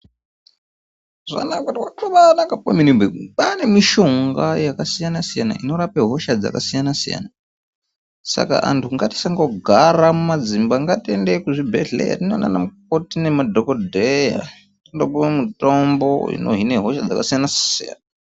Muzaano atavanawo kwakanaka kwaane mitombo yakasiyana siyana inorape hosha yakasiyana siyana saka vantu ngatisangogara mudzimba ngatiende kuzvibhedhlera tinoona madhokodheya topiwa mitombo inohina hosha dzakasiyana siyana.